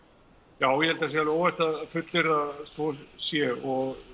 já ég held það sé alveg óhætt að fullyrða að svo sé og